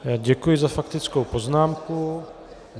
Děkuji za faktickou poznámku.